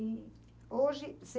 E hoje você...